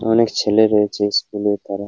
অনেক ছেলে রয়েছে স্কুলে তারা--